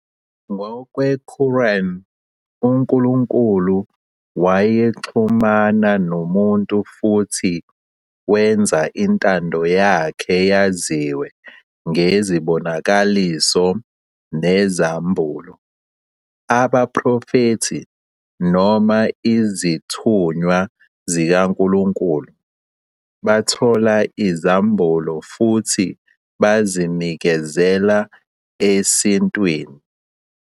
Ngokwe-Quran, uNkulunkulu wayexhumana nomuntu futhi wenza intando yakhe yaziwe ngezibonakaliso nezambulo. Abaprofethi, noma 'Izithunywa zikaNkulunkulu', bathola izambulo futhi bazinikezela esintwini.